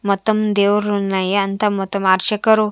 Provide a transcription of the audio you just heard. మొత్తం దేవుళ్ళు ఉన్నాయి అంత మొత్తం అర్చకరు.